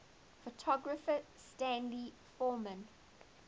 photographer stanley forman